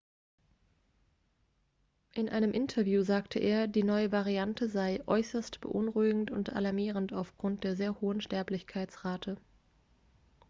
in einem interview sagte er die neue variante sei äußerst beunruhigend und alarmierend aufgrund der sehr hohen sterblichkeitsrate